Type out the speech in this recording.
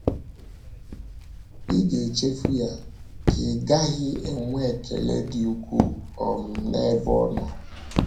Ị̀ ga - echefu ya, ka ị́ gaghị enwe ekele dị ukwuu um n’ebe ọ nọ?